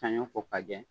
Sanɲɔ ko ka jɛ